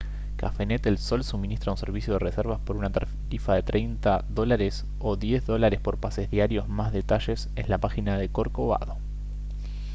cafenet el sol suministra un servicio de reservas por una tarifa de us$ 30 o $10 por pases diarios; más detalles en la página del corcovado